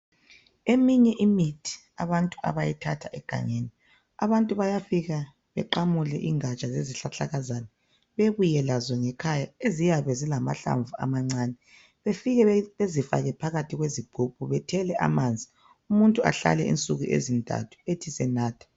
Eminye imithi abantu abayithatha egangeni abantu bayafika beqamule ingatsha lezihlahlakazana bebuye lazo ngekhaya eziyabe zilamahlamvu amancane befike bezifake phakathi kwezigogo bethele amanzi umuntu ahlale ensuku esithathu ethi senatha.